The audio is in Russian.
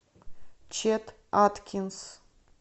чет аткинс